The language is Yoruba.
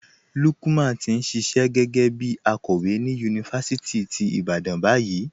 Lúkman ti n ṣíṣẹ̀ gé̩gẹ̩ bí àkòwé ni yunifásítì tí Ìbàdàn bayìí.